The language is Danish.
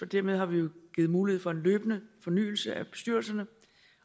dermed har vi jo givet mulighed for en løbende fornyelse af bestyrelserne